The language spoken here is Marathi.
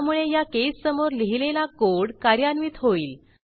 त्यामुळे या केस समोर लिहिलेला कोड कार्यान्वित होईल